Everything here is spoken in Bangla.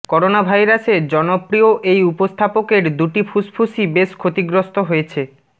করোনাভাইরাসে জনপ্রিয় এই উপস্থাপকে দুটি ফুসফুসই বেশ ক্ষতিগ্রস্ত হয়েছে